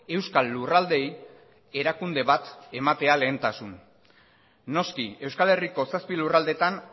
euskal lurraldeei erakunde bat ematea lehentasun noski euskal herriko zazpi lurraldeetan